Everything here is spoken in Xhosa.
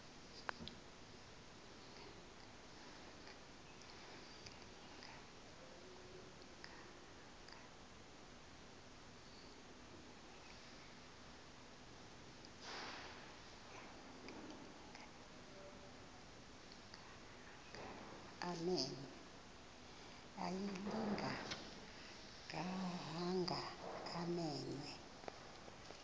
ayilinga gaahanga imenywe